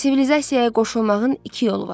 Sivilizasiyaya qoşulmağın iki yolu var.